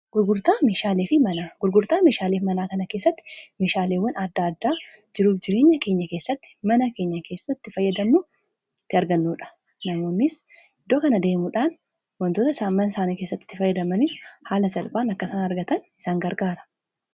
Gurgurtaa meeshaaleef manaa kana keessatti meeshaaleewwan adda addaa jiruuf jireenya keenya keessatti mana keenya keessatti fayyadannutti argannuudha . namoonnis iddoo kana deemuudhaan wantoota isaan mana isaanii keessati fayyadamaniif haala salphaan akkasaan argatan isaan gargaara.